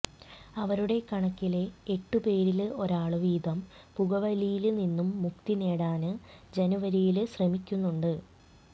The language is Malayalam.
അവരുടെ കണക്കില് എട്ടു പേരില് ഒരാള് വീതം പുകവലിയില് നിന്നും മുക്തി നേടാന് ജനുവരിയില് ശ്രമിക്കുന്നുണ്ട്